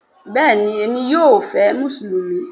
Bẹ́ẹ̀ni Emi yóò fé musulumi